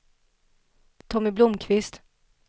Tommy Blomkvist